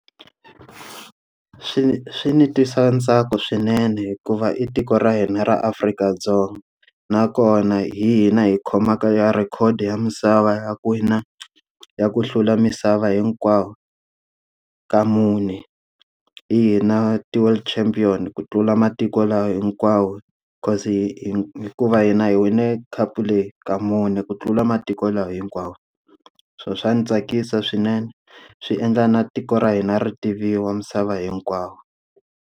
Swi swi ni twisa ntsako swinene hikuva i tiko ra hina ra Afrika-Dzonga, nakona hina hi khomaka ya record ya misava ya ku wina ya ku hlula misava hinkwayo, ka mune. Hi hina ti-world championship ku tlula matiko lama hinkwawo because hi hi hikuva hina hi wine khapu leyi ka mune ku tlula matiko laha hinkwawo. So swa ni tsakisa swinene, swi endla na tiko ra hina ri tiviwa misava hinkwayo.